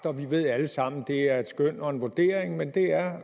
og vi ved alle sammen at det er et skøn og en vurdering men det er